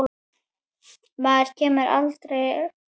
Maður kemur alltaf heim aftur